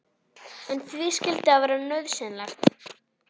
En því skyldi það vera nauðsynlegt?